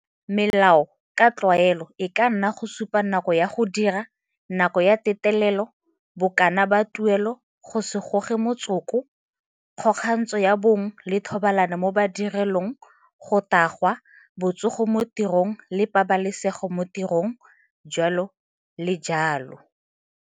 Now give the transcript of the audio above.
Melao ka tlwaelo e ka nna go supa nako ya go dira, nako ya go teltelelo, bokana ba tuleo, go se goge motsoko, kgokgantsho ya bong le thobalano mo bodirelong, go tagwa, botsogo mo tirong le pabalesego mo tirong, jalo le jalo.